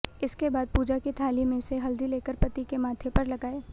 इसके बाद पूजा की थाली में से हल्दी लेकर पति के माथे पर लगाएं